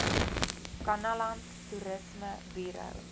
kannaland toerisme buro